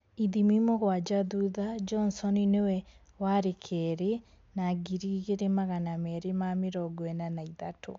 Ithimi mũgwanja thutha, Johnson nĩwe wa keerĩ na ngiri igĩrì magana meerĩ ma mĩrongo ĩna na ithatũ